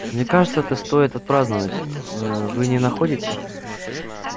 мне кажется это стоит отпраздновать ээ вы не находите